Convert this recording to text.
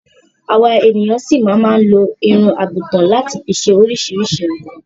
Àwa ènìyan ṣi máa máa lo irun àgùtan láti fi ṣe oríṣiríṣi nǹkan.